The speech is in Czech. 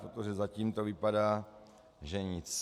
Protože zatím to vypadá že nic.